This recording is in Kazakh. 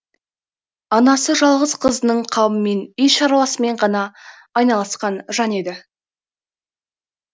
анасы жалғыз қызының қамымен үй шаруасымен ғана айналысқан жан еді